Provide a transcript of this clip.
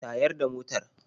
Tayar da motar.